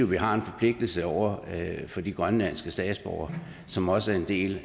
vi har en forpligtelse over for de grønlandske statsborgere som også er en del